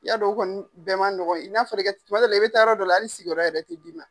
I y'a dɔn o kɔni bɛɛ man nɔgɔn. N'a fɔra i taa, tuma dɔw la i be taa yɔrɔ dɔw la sigiyɔrɔ yɛrɛ tɛ d'i ma.